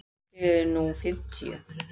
Þeir séu nú fimmtíu.